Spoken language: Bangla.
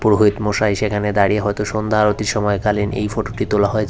পুরোহিতমশাই এসে এখানে দাঁড়িয়ে হয়তো সন্ধ্যাআরতির সময়কালীন এই ফটোটি তোলা হয়েছে।